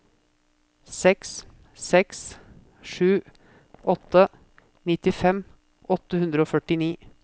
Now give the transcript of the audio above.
seks seks sju åtte nittifem åtte hundre og førtini